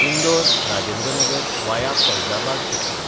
इंदोर–राजेंद्र नगर वाया Faizabad express